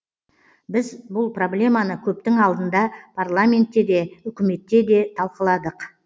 біз бұл проблеманы көптің алдында парламентте де үкіметте де талқыладық